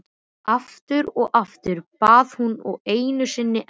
Aftur og aftur, bað hún og einu sinni enn.